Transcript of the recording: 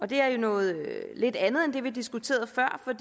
det er jo noget lidt andet end det vi diskuterede før for